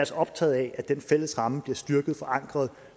så optaget af at den fælles ramme bliver styrket forankret og